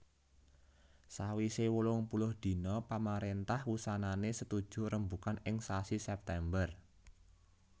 Sawisé wolungpuluh dina pamaréntah wusanané setuju rembugan ing sasi September